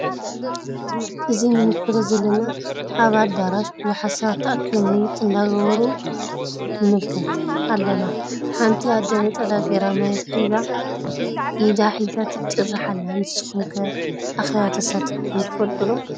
እዚ ንምልከቶ ዘለና ኣብ ኣዳራሽ ቡዙሓት ሰባት ተኣኪቦም ምይይጥ አንዳ ገበሩ ንምልከት ኣለና። ሓንቲ ኣደ ነፀላ ገይራ ማይክ ሒዛ ኢዳ ሒዛ ትጭርሕ ኣላ። ንሱኩም ከ ኣኪባ ተሳቲፍኩም ትፈልጡ ዶ?